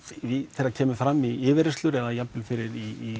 þegar kemur fram í yfirheyrslu eða jafnvel fyrir í